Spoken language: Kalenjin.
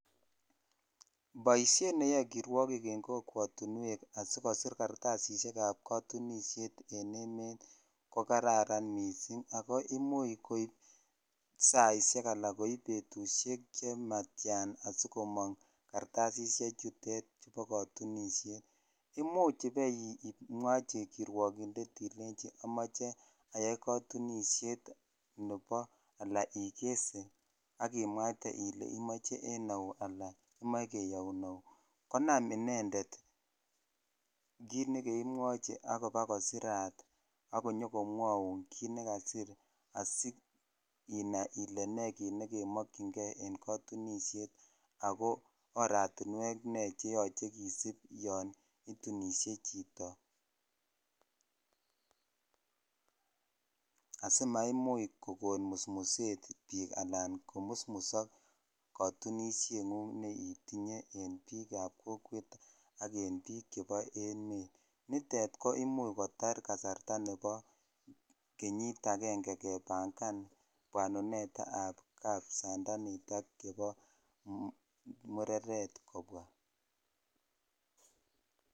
boisheet neyoe kirwogiik en kokwotinweek asigosiir kartasisiek ab katunisheet en emet ko kararan mising agoo imuch koib saisiek alaan koib betusheek chematyaan asigomoong kartasisiek chuteet bo kotunisheet, imuuch ibemwochi kirwogindeet ilenchi omoche ayaai katunisheet alaan nebo igesee ak imwaaite ilenchi imoche en auu alan imoche keyouu auu konaam indendet kiit negoimwochi abakosiraat abakomwouu kiit negasiir siinaai ile nee kiit negemokyingee en katunisheet ago oratinweek nee cheyoche kisiib yoon itunishe chito asimaimuch kogooon musmuseet biik anan komusmusook kotunisheet nguung neitinye en biik ab kokweet ak en biik chebo emet, niteet koimuch kotaar kasarta nebo kenyiit aenge kebangaan bwanuneet ab kapsandaniit ak chebo mureret kobwaa.